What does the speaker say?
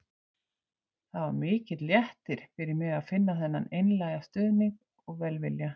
Það var mikill léttir fyrir mig að finna þennan einlæga stuðning og velvilja.